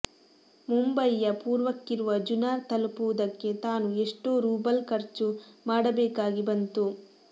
ಮುಂಬಯಿಯ ಪೂರ್ವಕ್ಕಿರುವ ಜುನಾರ್ ತಲುಪುವುದಕ್ಕೆ ತಾನು ಎಷ್ಟೋ ರೂಬಲ್ಖರ್ಚು ಮಾಡ ಬೇಕಾಗಿಬಂತು